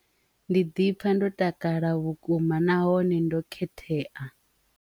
Ndi ḓi pfha ndo takala vhukuma nahone ndo khetheya.